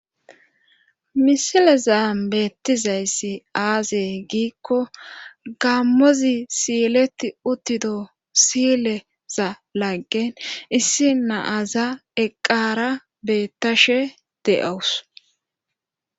Misile zaan beettizayssi aazey giikko gammozi siileti uttido sileza laggen issi naaza eqqara beettashe de'owus.